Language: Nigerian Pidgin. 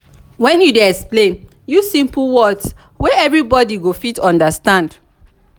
when you dey explain use simple words wey everybody go fit understand.